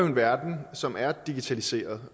en verden som er digitaliseret